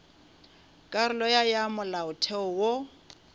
karolo ya ya molaotheo wo